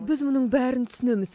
біз мұның бәрін түсінеміз